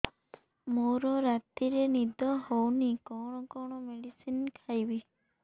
ମୋର ରାତିରେ ନିଦ ହଉନି କଣ କଣ ମେଡିସିନ ଖାଇବି